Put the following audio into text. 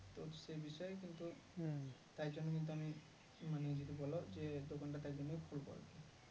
সে বিষয়ে কিন্তু তাই জন্য কিন্তু আমি মানে যদি বলো যে দোকানটা তাই জন্য খুলবো আরকি